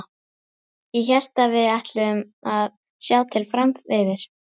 Ég hélt að við ætluðum að sjá til fram yfir.